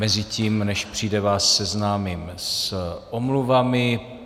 Mezitím, než přijde, vás seznámím s omluvami.